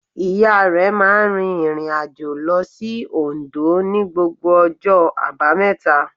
Ìya rẹ̀ máa n rìn ìrìnàjò lo sí Ondó ní gbogbo ọjọ́ àbámẹ̀ta